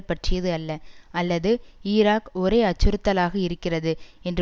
பற்றியது அல்ல அல்லது ஈராக் ஒரே அச்சுறுத்தலாக இருக்கிறது என்று